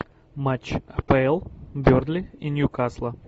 матч апл бернли и ньюкасла